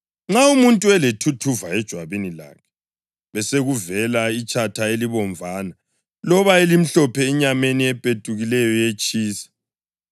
Nxa umuntu elethuthuva ejwabini lakhe besekuvela itshatha elibomvana loba elimhlophe enyameni epetukileyo yetshisa,